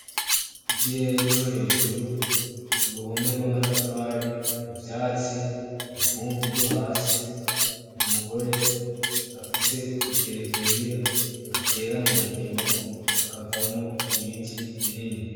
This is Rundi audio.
Ikirere cohejuru, uruhome rwamatafari, ivyatsi, ivumbi ryohasi, umugore afise igereviya batera mundimo hakavamwo ibiti binini.